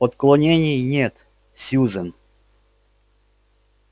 отклонений нет сьюзен